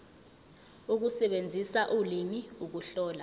ukusebenzisa ulimi ukuhlola